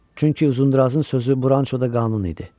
Çünki Uzundrazın sözü Branşoda qanun idi.